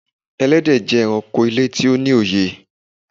Ẹlẹ́dẹ̀ jẹ́ èránkò ilẹ̀ tó ní òyè.